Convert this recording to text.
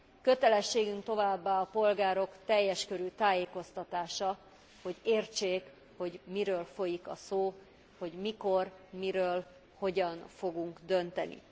Kötelességünk továbbá a polgárok teljes körű tájékoztatása, hogy értsék, hogy miről folyik a szó, hogy mikor, miről, hogyan fogunk dönteni.